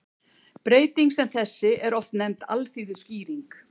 Breyting sem þessi er oft nefnd alþýðuskýring.